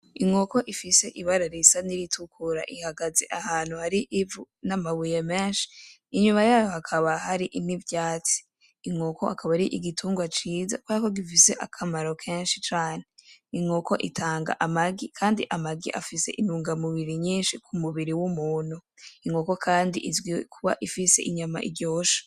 inkoko ifise ibara risa n'iritukura ihagaze ahantu hari ivu n'amabuye meshi inyuma yayo hakaba hari n'ivyatsi, Inkoko akaba ari igitungwa ciza kuberako gifise keshi cane, Inkoko itanga amagi kandi amagi afise intunga mubiri nyishi k'umubiri w'umuntu, Inkoko kandi izwi kuba ifise inyama iryoshe.